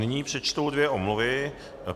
Nyní přečtu dvě omluvy.